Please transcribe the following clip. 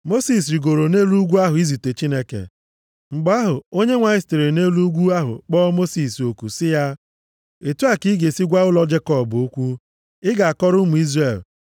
Mosis rigooro nʼelu ugwu ahụ izute Chineke. Mgbe ahụ, Onyenwe anyị sitere nʼelu ugwu ahụ kpọ Mosis oku sị ya, “Otu a ka ị ga-esi gwa ụlọ Jekọb okwu. Ị ga-akọrọ ụmụ Izrel: